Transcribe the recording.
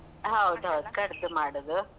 ಹೌದೌದ್ ಕಡ್ದ್ ಮಾಡುದು.